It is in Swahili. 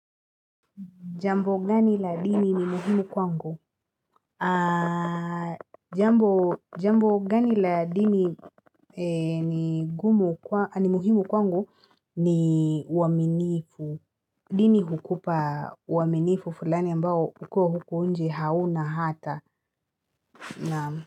Jambo gani la dini ni muhimu kwangu? Aaaaaa Jambo jambo gani la dini ni gumu kwa ni muhimu kwangu ni waminifu. Dini hukupa uaminifu fulani ambao ukiwa huko nje hauna hata na.